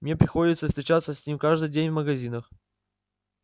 мне приходится встречаться с ним каждый день в магазинах